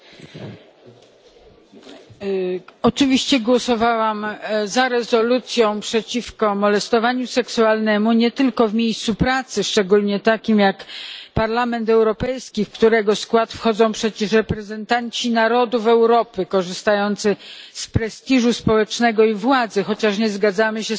Oczywiście głosowałam za rezolucją przeciwko molestowaniu seksualnemu nie tylko w miejscu pracy, szczególnie takim jak Parlament Europejski, w którego skład wchodzą przecież reprezentanci narodów Europy korzystający z prestiżu społecznego i władzy, chociaż nie zgadzamy się z pewnymi aspektami konwencji stambulskiej.